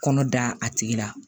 Kɔnɔ da a tigi la